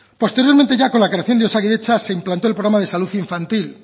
posteriormente ya con la creación de osakidetza se implantó el programa de salud infantil